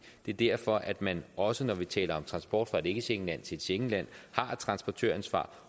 det er derfor at man også når vi taler om transport fra et ikkeschengenland til et schengenland har et transportøransvar